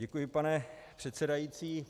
Děkuji, pane předsedající.